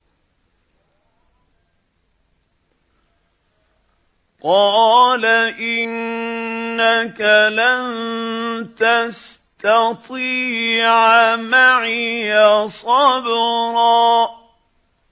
قَالَ إِنَّكَ لَن تَسْتَطِيعَ مَعِيَ صَبْرًا